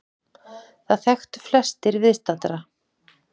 Það þekktu flestir viðstaddra.